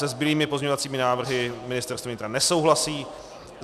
Se zbylými pozměňovacími návrhy Ministerstvo vnitra nesouhlasí.